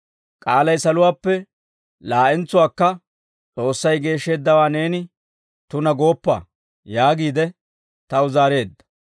«K'aalay saluwaappe laa'entsuwaakka, ‹S'oossay geeshsheeddawaa neeni tunaa gooppa› yaagiide taw zaareedda.